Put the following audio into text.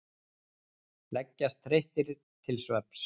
Leggjast þreyttir til svefns.